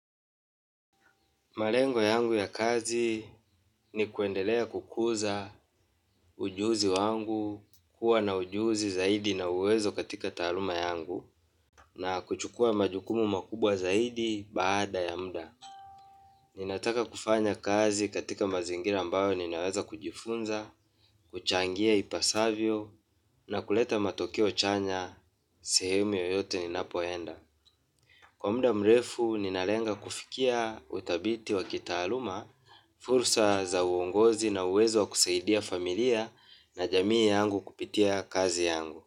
Malengo yangu ya kazi ni kuendelea kukuza ujuzi wangu kuwa na ujuzi zaidi na uwezo katika taaluma yangu na kuchukua majukumu makubwa zaidi baada ya muda. Ninataka kufanya kazi katika mazingira ambayo ninaweza kujifunza, kuchangia ipasavyo na kuleta matokeo chanya sehemu yoyote ninapoenda. Kwa muda mrefu ninalenga kufikia uthabiti wa kitaaluma, fursa za uongozi na uwezo wa kusaidia familia na jamii yangu kupitia kazi yangu.